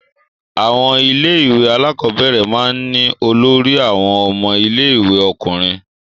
Àwọn ilé-ìwé alákọ̀ọ́bẹ̀rẹ̀ máa ń ní olórí àwọn ọmọ ilé-ìwé ọkùnrin.